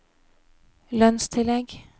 lønnstillegg